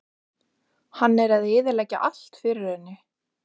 Hann er að eyðileggja allt fyrir henni.